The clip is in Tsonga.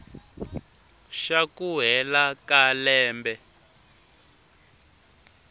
xa ku hela ka lembe